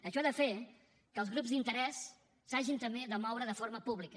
això ha de fer que els grups d’interès s’hagin també de moure de forma pública